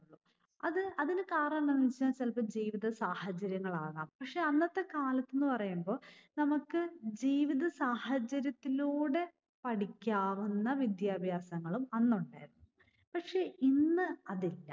അത് അതിന് കാരണം എന്തെന്ന് വെച്ചാൽ ചിലപ്പോൾ ജീവിതസാഹചര്യങ്ങളാകാം. പക്ഷെ അന്നത്തെ കാലത്തെന്ന് പറയുമ്പോൾ നമുക്ക് ജീവിതസാഹചര്യത്തിലൂടെ പഠിക്കാവുന്ന വിദ്യാഭ്യാസങ്ങളും അന്നുണ്ടായിരുന്നു. പക്ഷെ ഇന്ന് അതില്ല.